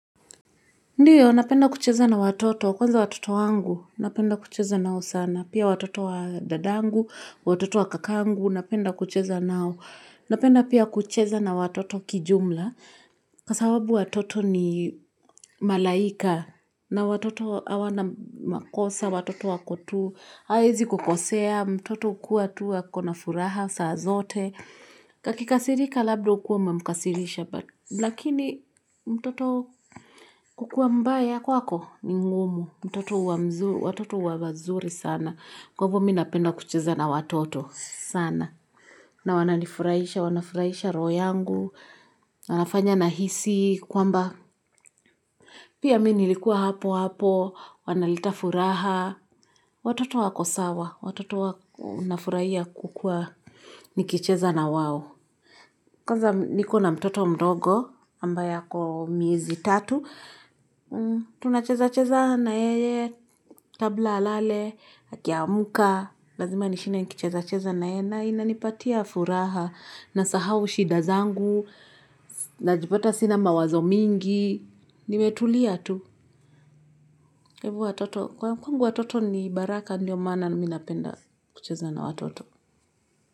Ndiyo, napenda kucheza na watoto. Kwanza watoto wangu, napenda kucheza nao sana. Pia watoto wa dadangu, watoto wa kakangu, napenda kucheza nao. Napenda pia kucheza na watoto kijumla. Kasawabu watoto ni malaika. Na watoto hawana makosa, watoto wako tu. Haezi kukosea, mtoto hukua tu wako na furaha, saa zote. Kakikasirika labda ukuwa umemkasirisha. Lakini mtoto kukuwa mbaya kwako ni ngumu, mtoto huwa mzuri, watoto huwa mzuri sana, kwa hivyo MI napenda kucheza na watoto sana, na wananifurahisha, wanafurahisha roho yangu, wanafanya nahisi, kwamba pia mi nilikuwa hapo hapo, wanaleta furaha, watoto wako sawa, watoto wanafurahia kukua nikicheza na wao. Kwanza niko na mtoto mdogo, ambaye ako miezi tatu, tunacheza-cheza na yeye, kabla alale, akiamka, lazima nishinde niki-cheza-cheza na yeye, na inanipatia furaha, nasahau shida zangu, najipata sina mawazo mingi, nimetulia tu. Hebu watoto, kwa kwangu watoto ni baraka ndio maana mi napenda kucheza na watoto.